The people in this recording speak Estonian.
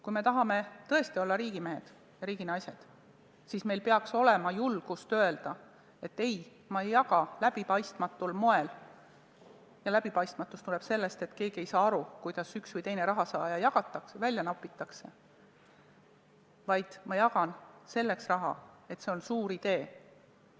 Kui me tahame tõesti olla riigimehed ja riiginaised, siis meil peaks olema julgust öelda, et ei, ma ei jaga raha läbipaistmatul moel – ja läbipaistmatus tuleb sellest, et keegi ei saa aru, kuidas üks või teine rahasaaja välja nopitakse –, vaid ma jagan raha selle pärast, et on olemas suur idee.